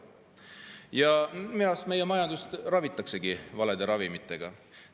Ja minu arust meie majandust ravitaksegi valede ravimitega.